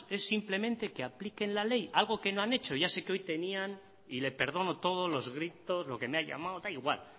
es simplemente que apliquen la ley algo que no han hecho ya sé que hoy tenían y le perdono todos los gritos lo que me ha llamado da igual